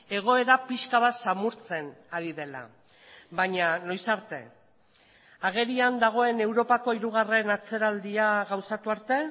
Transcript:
egoera pixka bat samurtzen ari dela baina noiz arte agerian dagoen europako hirugarren atzeraldia gauzatu arte